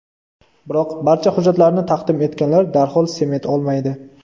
Biroq, barcha hujjatlarni taqdim etganlar darhol sement olmaydi.